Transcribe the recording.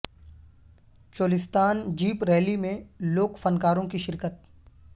Cholistan jeep rally میں لوک فن کاروں کی شرکت